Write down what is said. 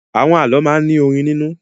Àwọn àlọ́ máa ń ní orin nínú.